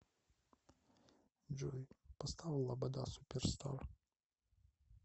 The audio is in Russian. джой поставь лобода суперстар